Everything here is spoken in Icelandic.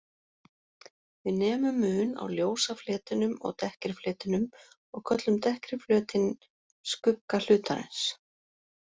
Við nemum mun á ljósa fletinum og dekkri fletinum og köllum dekkri flötinn skugga hlutarins.